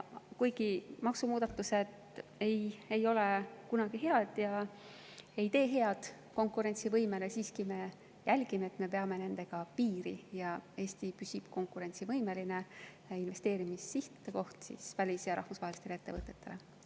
Kuigi maksumuudatused ei ole kunagi head ja ei tee konkurentsivõimele head, me siiski jälgime, et me peaksime nendega piiri ja Eesti püsiks konkurentsivõimelise investeerimissihtkohana välis‑ ja rahvusvahelistele ettevõtetele.